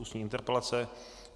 Ústní interpelace